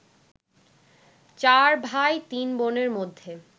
চার ভাই তিন বোনের মধ্যে